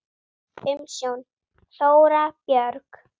Umsjón: Þóra Björg.